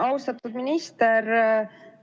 Austatud minister!